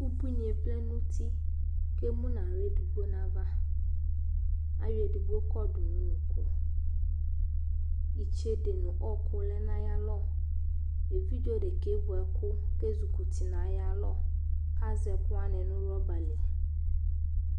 Ubunié vlɛ nu uti kému na xlă digbo na ava ayɔ édigbo kɔdu nu unuku itsédé nu ɔku lɛ nayalɔ évidzé déka ké vu ɛku ké jukuti nayalɔ kazɛ kuwani nu rɔba li